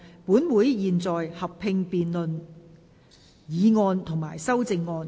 本會現在合併辯論議案及修正案。